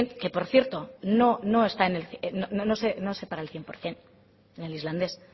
que por cierto no se paga al cien por ciento en el islandés